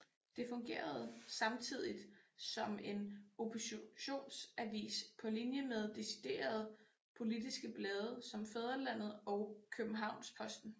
Det fungerede samtidigt som en oppositionsavis på linje med deciderede politiske blade som Fædrelandet og Kjøbenhavnsposten